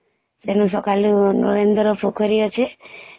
ସେଇ ନୁ ସଖାଳୁ ନରେନ୍ଦ୍ର ପୋଖରୀ ଅଛେ